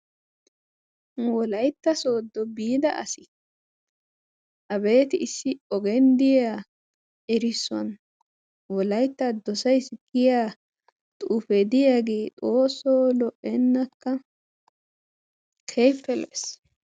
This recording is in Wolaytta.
Nu Wolaytta sooddo biida asay abeeti issi ogiyan de'iya erissuwan Wolaytta dosaysi giya xuufe diyagee xoosso lo'enakka! keehippe lo''ees.